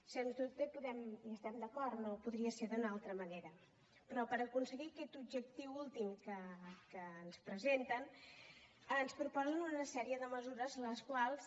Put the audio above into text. sens dubte hi estem d’acord no podria ser d’una altra manera però per aconseguir aquest objectiu últim que ens presenten ens proposen una sèrie de mesures les quals